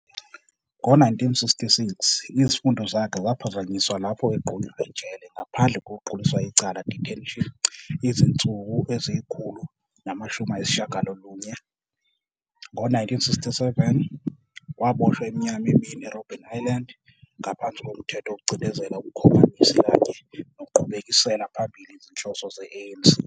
Ngo-1966, izifundo zakhe zaphazanyiswa lapho egqunywa ejele ngaphandle kokuquliswa icala, detention, izinsuku ezingama-190. Nge-1967, waboshwa iminyaka emibili eRobben Island ngaphansi koMthetho wokucindezela ubuKhomanisi kanye nokuqhubekisela phambili izinhloso ze-ANC.